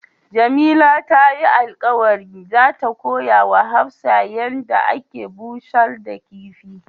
Jamila ta yi alkawali za ta koya ma Hafsat yan da ake bushar da kifi.